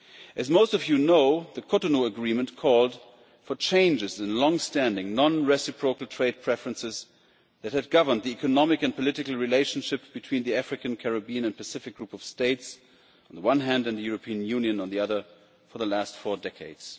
As most of you know, the Cotonou Agreement called for changes in longstanding non reciprocal trade preferences that had governed the economic and political relationship between the African, Caribbean and Pacific group of States, on the one hand, and the European Union, on the other, for the last four decades.